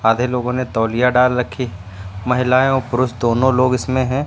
सारे लोगों ने तौलिया डाल रखी महिलाएं और पुरुष दोनों लोग इसमें है।